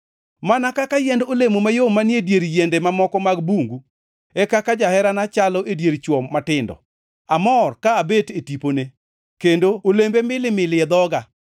Mana kaka yiend olemo mayom manie dier yiende mamoko mag bungu, e kaka jaherana chalo e dier chwo matindo. Amor ka abet e tipone, kendo olembe milimili e dhoga.